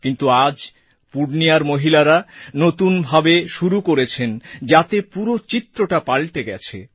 কিন্তু আজ পূর্ণিয়ার মহিলারা নতুন ভাবে শুরু করেছেন যাতে পুরো চিত্রটা পালটে গেছে